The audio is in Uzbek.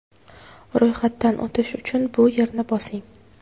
Ro‘yxatdan o‘tish uchun bu yerni bosing.